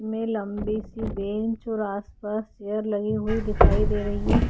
में लम्बी सी बेंच और आस पास चेयर लगीं हुई दिखाई दे रही है।